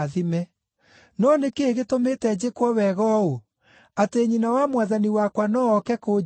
No nĩ kĩĩ gĩtũmĩte njĩkwo wega ũũ, atĩ nyina wa Mwathani wakwa no ooke kũnjeerera?